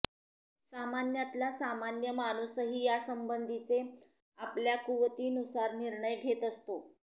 सामान्यातला सामान्य माणूसही यासंबंधीचे आपल्या कुवतीनुसार निर्णय घेत असतो